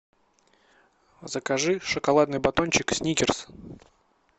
закажи шоколадный батончик сникерс